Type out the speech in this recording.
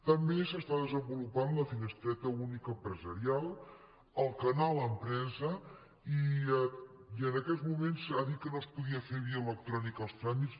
també s’està desenvolupant la finestreta única empresarial el canal empresa i en aquests moments ha dit que no es podien fer via electrònica els tràmits